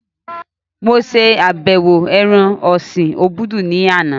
Mo sàbẹ̀wo ibí ẹran ọ̀sin obudu ní àná